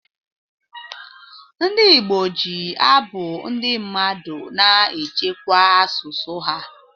Ndị Igbo ji abụ ndị mmadụ na-echekwa asụsụ ha.